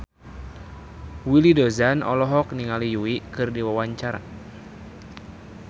Willy Dozan olohok ningali Yui keur diwawancara